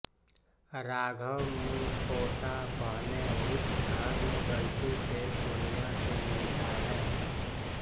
राघव मुखोटा पहने उस घर में गलती से सोनिया से मिलता है